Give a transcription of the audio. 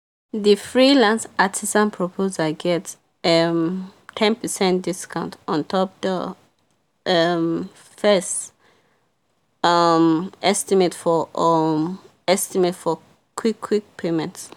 the freelance artisan proposal get um ten percent discount ontop the um fest um estimate for um estimate for quick quick payment.